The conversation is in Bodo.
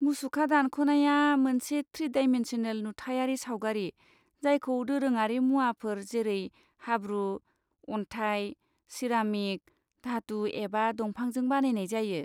मुसुखा दानख'नाया मोनसे थ्रि डाइमेनसनेल नुथायारि सावगारि जायखौ दोरोङारि मुवाफोर जेरै हाब्रु, अन्थाइ, सिरामिक, धातु एबा दंफांजों बानायनाय जायो।